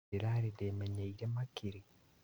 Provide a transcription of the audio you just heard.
Nindĩrare ndĩĩmenyerie makĩri?